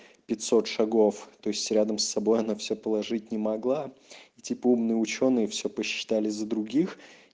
пятьсот шагов то есть рядом с собой она все положить не могла и типа умные учёные все посчитали за других